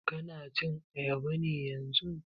Ka na cin ayaba ne yanzun?